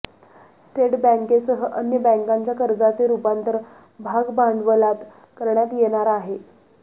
state बँकेसह अन्य बँकांच्या कर्जाचे रुपांतर भागभांडवलात करण्यात येणार आहे